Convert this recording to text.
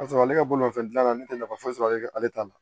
K'a sɔrɔ ale ka bolomafɛn dilanna ne tɛ nafa foyi sɔrɔ ale la ale t'a la